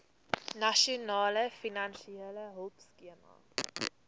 nasionale finansiële hulpskema